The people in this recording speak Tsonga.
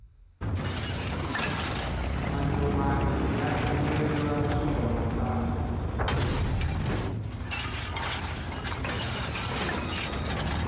mancomani ya endleriwa swingomantanda